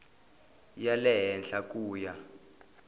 ya le henhla ku ya